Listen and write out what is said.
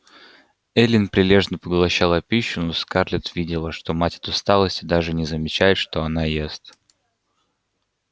эллин прилежно поглощала пищу но скарлетт видела что мать от усталости даже не замечает что она ест